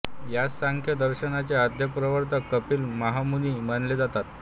या सांख्य दर्शनाचे आद्य प्रवर्तक कपिल महामुनि मानले जातात